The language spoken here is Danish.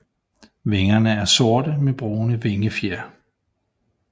Vingerne er sorte med brune vingefjer